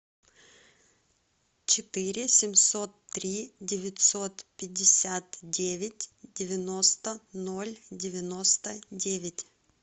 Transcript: четыре семьсот три девятьсот пятьдесят девять девяносто ноль девяносто девять